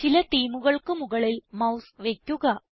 ചില themeകൾക്ക് മുകളിൽ മൌസ് വയ്ക്കുക